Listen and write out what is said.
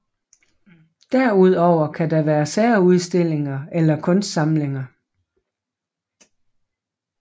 Derudover kan der være særudstillinger eller kunstsamlinger